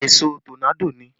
Èṣó tọ́nádò ni